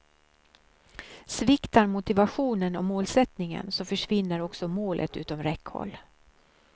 Sviktar motivationen och målsättningen så försvinner också målet utom räckhåll.